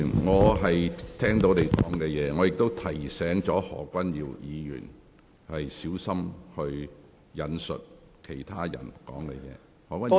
我亦已提醒何君堯議員，應小心引述其他人的說話。